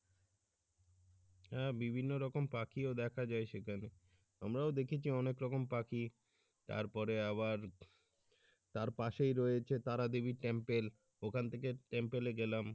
আহ বিভিন্ন রকম পাখিও দেখা যায় সেখানে আমরাও দেখেছি অনেক রকম পাখি তারপরে আবার তার পাশেই রয়েছে তারা দেবির temple ওখান থেকে temple গেলাম।